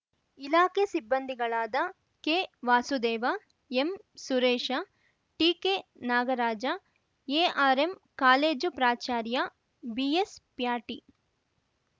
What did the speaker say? ಇಲಾಖೆ ಸಿಬ್ಬಂದಿಗಳಾದ ಕೆವಾಸುದೇವ ಎಂಸುರೇಶ ಟಿಕೆನಾಗರಾಜ ARM college ಪ್ರಾಚಾರ್ಯ ಬಿಎಸ್‌ಪ್ಯಾಟಿ